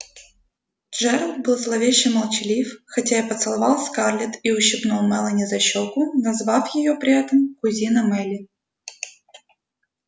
джералд был зловеще молчалив хотя и поцеловал скарлетт и ущипнул мелани за щёку назвав её при этом кузина мелли